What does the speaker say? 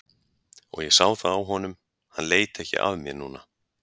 Og ég sá það á honum, hann leit ekki af mér núna.